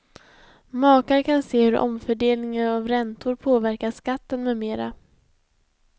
Makar kan se hur omfördelning av räntor påverkar skatten med mera.